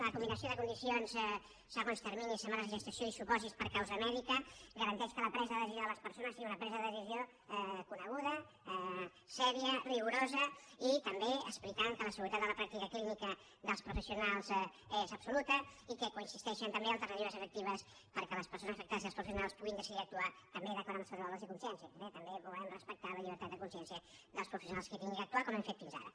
la combinació de condicions segons terminis setmanes de gestació i supòsits per causa mèdica garanteix que la presa de decisió de les persones sigui una presa de decisió coneguda seriosa rigorosa i també explicant que la seguretat de la pràctica clínica dels professionals és absoluta i que coexisteixen també alternatives efectives perquè les persones afectades i els professionals puguin decidir actuar també d’acord amb els seus valors i consciència eh també volem respectar la llibertat de consciència dels professionals que hagin d’actuar com hem fet fins ara